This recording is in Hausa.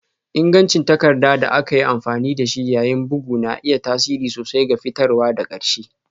Ingancin takarda da aka yi amfani da shi yayin bugu na iya tasiri sosai ga fitarwa ta ƙarshe